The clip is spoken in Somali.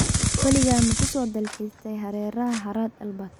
Weligaa ma ku soo dalxistaay hareeraha harada Albert?